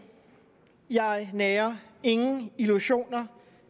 jeg nærer ingen illusioner